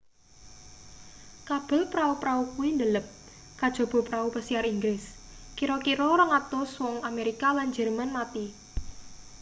kabel prau-prau kuwi ndelep kajaba prau pesiar inggris kira-kira 200 wong amerika lan jerman mati